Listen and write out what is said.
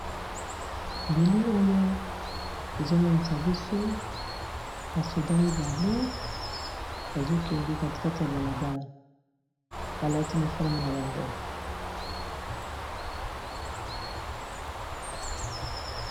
Elili oyo ezomonisa biso ba soldat mibale bazokende katikati ya balabala balati uniforme na bango.